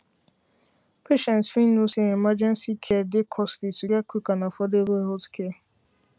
patients fit know say emergency care dey costly to get quick and affordable healthcare